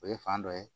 O ye fan dɔ ye